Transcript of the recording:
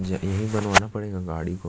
ज यहीं बनवाना पड़ेगा गाड़ी को --